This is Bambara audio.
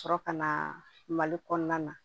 Sɔrɔ ka na mali kɔnɔna na